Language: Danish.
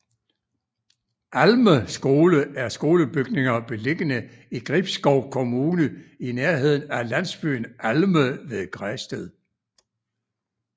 Alme Skole er skolebygninger beliggende i Gribskov Kommune i nærheden af landsbyen Alme ved Græsted